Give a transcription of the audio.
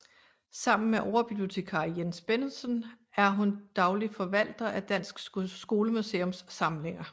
Sammen med overbibliotekar Jens Bennedsen er hun daglig forvalter af Dansk skolemuseums samlinger